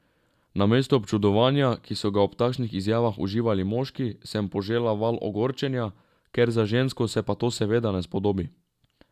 Namesto občudovanja, ki so ga ob takšnih izjavah uživali moški, sem požela val ogorčenja, ker za žensko se pa to seveda ne spodobi.